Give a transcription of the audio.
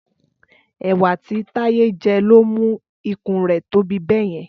Ẹ̀wà tí Táyé jẹ ló mú ikùn rẹ̀ tóbi bẹ́yẹn